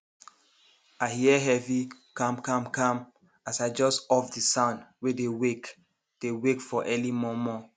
i hear heavy kamkamkam as i jus off the sound wey dey wake dey wake for early momo